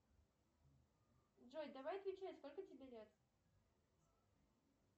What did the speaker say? джой давай отвечай сколько тебе лет